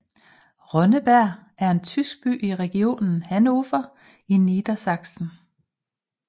Ronnenberg er en tysk by i Region Hannover i Niedersachsen